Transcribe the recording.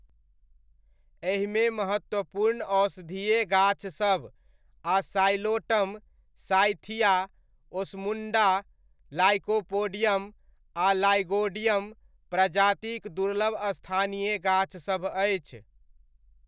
एहिमे महत्वपूर्ण औषधीय गाछसभ आ साइलोटम, साइथिया, ओस्मुण्डा, लाइकोपोडियम आ लाइगोडियम प्रजातिक दुर्लभ स्थानीय गाछसभ अछि।